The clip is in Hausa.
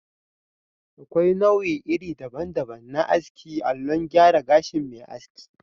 Akwai nau'i iri daban daban na aski allon gyara gashin mai aski